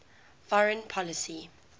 foreign policy